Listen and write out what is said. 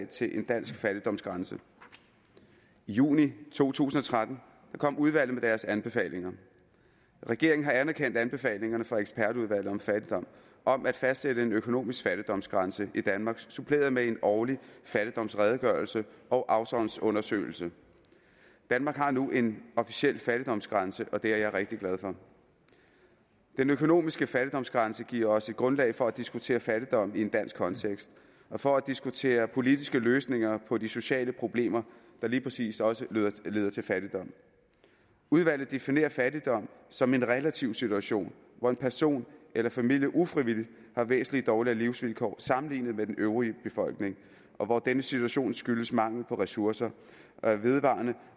til en dansk fattigdomsgrænse i juni to tusind og tretten kom udvalget med deres anbefalinger regeringen har anerkendt anbefalingerne fra ekspertudvalget om fattigdom om at fastsætte en økonomisk fattigdomsgrænse i danmark suppleret med en årlig fattigdomsredegørelse og afsavnsundersøgelse danmark har nu en officiel fattigdomsgrænse og det er jeg rigtig glad for den økonomiske fattigdomsgrænse giver os et grundlag for at diskutere fattigdom i en dansk kontekst og for at diskutere politiske løsninger på de sociale problemer der lige præcis også leder til fattigdom udvalget definerer fattigdom som en relativ situation hvor en person eller familie ufrivilligt har væsentlig dårligere livsvilkår sammenlignet med den øvrige befolkning og hvor denne situation skyldes mangel på ressourcer er vedvarende